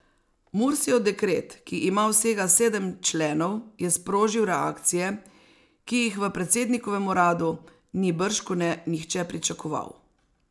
Mursijev dekret, ki ima vsega sedem členov, je sprožil reakcije, ki jih v predsednikovem uradu ni bržkone nihče pričakoval.